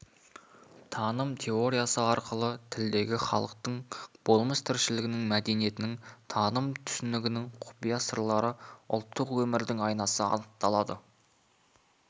таным теориясы арқылы тілдегі халықтың болмыс тіршілігінің мәдениетінің таным-түсінігінің құпия сырлары ұлттық өмірдің айнасы анықталады